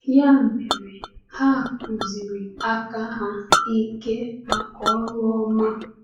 Ya mere, ha kụziri aka ha ike maka ọrụ ọma.”